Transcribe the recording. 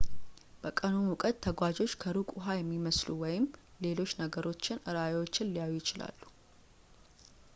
በቀኑ ሙቀት ተጓዦች ከሩቅ ውሃ የሚመስሉ ወይም ሌሎች ነገሮችን ራእዮችን ሊያዩ ይችላሉ